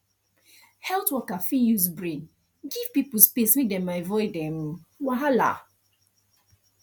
health worker fit use brain give people space make dem avoid um wahala